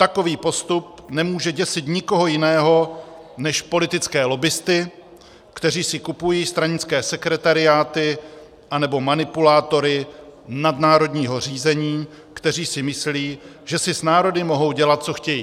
Takový postup nemůže děsit nikoho jiného než politické lobbisty, kteří si kupují stranické sekretariáty anebo manipulátory nadnárodního řízení, kteří si myslí, že si s národy mohou dělat, co chtějí.